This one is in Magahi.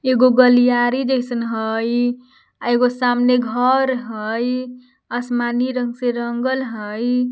एगो गलियारी जैसन हइ एगो सामने घर हइ आसमानी रंग से रंगल हइ।